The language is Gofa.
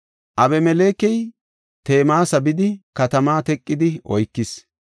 Abimelekey Temeesa bidi katamaa teqidi oykis.